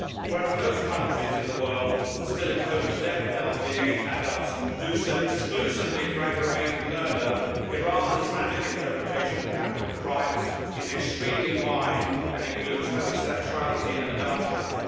Whereas most countries in the world which still impose the death penalty against adults do so exclusively for aggravated murder, Iran's Islamic interpretation of capital crimes is extremely wide and includes homosexuality and adultery.